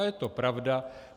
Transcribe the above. A je to pravda.